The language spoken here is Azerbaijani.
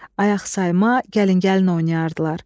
Ayaq sayma, gəlin-gəlin oynayardılar.